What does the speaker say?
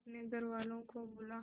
अपने घर वालों को बुला